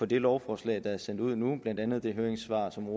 det lovforslag der er sendt ud nu blandt andet det høringssvar som